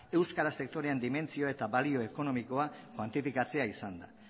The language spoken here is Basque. euskara sektorean dimentsio eta balio ekonomikoa kuantifikatzea izan da